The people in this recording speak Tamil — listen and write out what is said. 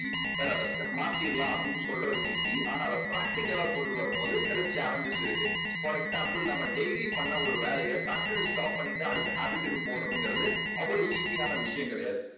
sir அதை மாத்திடலாம். அப்படீன்னு சொல்றது easy. ஆனா அதை practical லா கொண்டு வரும் போது சில chalenges இருக்கு for example நம்ப daily பண்ண ஒரு வேலையை டக்குன்னு stop பண்ணிட்டு அடுத்த habit டுக்கு போறதுங்கறது அவ்வளவு easy யான விஷயம் கிடையாது.